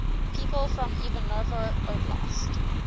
people from ivanovo oblast